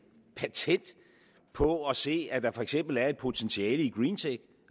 patent på at se at der for eksempel er et potentiale i greentech